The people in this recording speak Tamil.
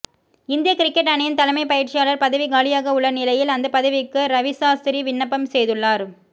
இந்திய கிரிக்கெட் அணியின் தலைமை பயிற்சியாளர் பதவி காலியாக உள்ள நிலையில் அந்த பதவிக்கு ரவிசாஸ்திரி விண்ணப்பம் செய்துள்ளார்